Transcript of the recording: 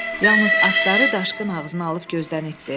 Yalnız atları daşqın ağzına alıb gözdən itdi.